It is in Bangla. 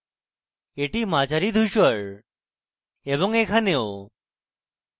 এটি মাঝারি ধূসর এবং এখানেও